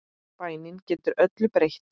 Bænin getur öllu breytt.